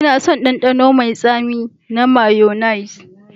Ina son ɗanɗano mai tsami na mayonnaise.